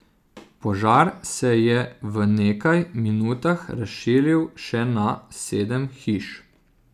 Požar se je v nekaj minutah razširil še na sedem hiš.